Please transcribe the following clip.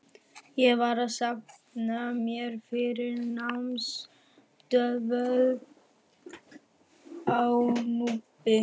Ég var að safna mér fyrir námsdvöl á Núpi.